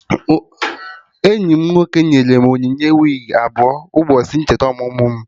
Enyi m nwoke nyere m onyinye wigi abụọ n'ụbọchị ncheta ọmụmụ mụ